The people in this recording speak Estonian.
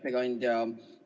Hea ettekandja!